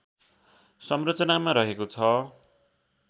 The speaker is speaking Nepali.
संरचनामा रहेको छ